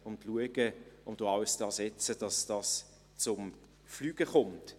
Wir werden alles daransetzen, dass dieses Projekt zum Fliegen kommt.